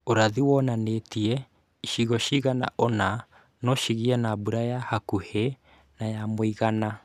Ũrathi wonanĩtie icigo cigana ũna no cigĩe na mbũra ya hakuhĩ na ya mũigana